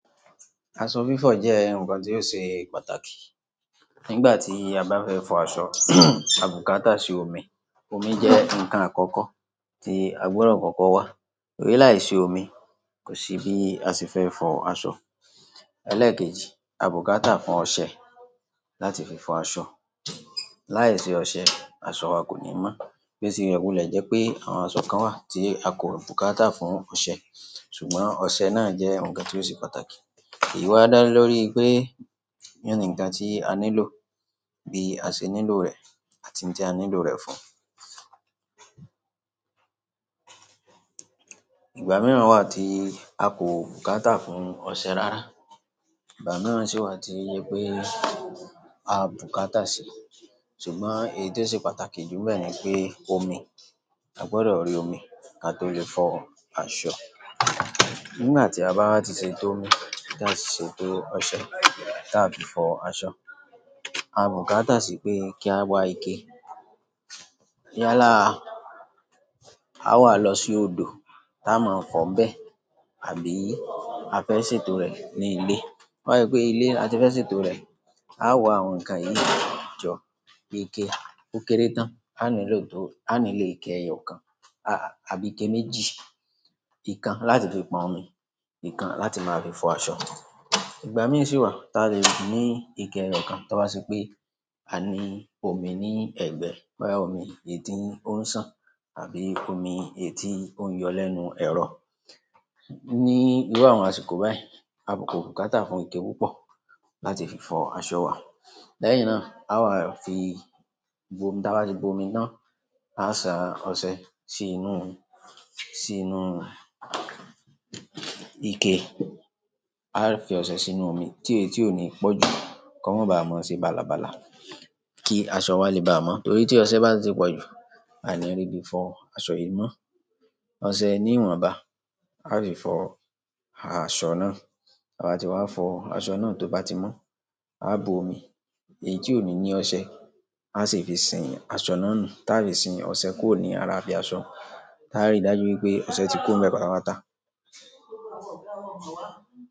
Aṣọ fífọ̀ jẹ́ ǹkan tí ó ṣe pàtàkì. Nígbà tí a bá fẹ́ fọ aṣọ, àbùkátà sí omi, omi jẹ́ ǹkan àkọ́kọ́ tí a gbọdọ̀ kọ́kọ́ wá. Ó rí láìsí omi, kò sí bí a sì fẹ́ fọ aṣọ. Elékèjì, àbùkátà fún ọṣẹ láti fi fọ aṣọ. Láìsí ọṣẹ, aṣọ wa kò ní mọ́. Bo tilẹ wilẹ̀ jẹ́ pé àwọn aṣọ kan wà tí a kò bùkátà fún ọṣẹ, ṣùgbọ́n ọṣẹ náà jẹ́ ǹkan tí ó ṣe pàtàkì. Èyí wá dálé lórí pé, yíyọ ní ǹkan tí a nílò bí a ṣe nílò rẹ̀ àti tí a nílò rẹ̀ fún. Ìgbà mìíràn wà tí a kò bùkátà fún ọṣẹ rárá. Ìgbà mìíràn sì wà tí jẹ pé à bùkátà ṣe. Ṣùgbọ́n èyí tó ṣe pàtàkì jù ń bẹ́ẹ̀ ni pé omi, a gbọdọ̀ rí omi ká tó lè fọ aṣọ. Nígbà ti a bá wa tí ṣètò omí taati ṣètò ọṣẹ táa fi fọ aṣọ. A bùkátà sí pé kí a wá ike. Yálá, a wà á lọ sí odò tá a máa kọ̀ bẹ́ àbí a fẹ́ ṣe tó rẹ̀ ní ilé. To ba jẹ́ pé ilé la ti fẹ́ ṣe tó rẹ̀, a wà àwọn ǹkan yìí jọ pé ike ókéré tán á nílò tó-- a ní lè ike ẹyọ kan àbí ike méjì. Ikan láti fi pọn omi, ìkan láti máa fi fọ aṣọ. Ìgbà mìíràn sì wà táa lè ní ike ẹyọ kan táa bá ṣe pé a ní omi ní ẹ̀gbẹ́. Bóyá omi èyí tó ń sàn àbí omi èyí tó ń yọ lẹ́nu ẹ̀rọ. Ní irú àwọn àsìkò báyìí, a kò bùkátà fún ike púpọ̀ láti fi fọ aṣọ wa. Lẹ́yìn náà, a wà á fi gbó-- táa bá ti gbo omi náà, a sa ọṣẹ sí inú, sí inú ike. A á fi ọṣẹ sí inú omi tí èyí tí ò ní pọ̀ jù, kó má ba à mọ́ ṣe bálabàla kí aṣọ wa lè baà mọ́. Nítorí tí ọṣẹ bá ti pọ̀ jù, a ni rí bí fọ aṣọ yìí mọ́. Ọṣẹ ní ìwọ̀nba, a fi fọ aṣọ náà. Ta bá ti wà fọ aṣọ náà to ba ti mọ. A bùu omí èyí tí o ni ní ọsẹ asi fi sìn aṣọ náà nù, ta lè fí sìn ọsẹ kúrò lára ibi aṣọ táa rí dájú pé ọṣẹ ti kún bẹ́ẹ̀ pátápátá.